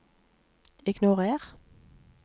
ignorer